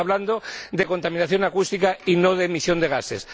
Estamos hablando de contaminación acústica y no de emisión de gases